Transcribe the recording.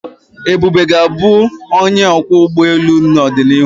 Ebube ga-abụ onye ọkwọ ụgbọ elu n'ọdịnihu.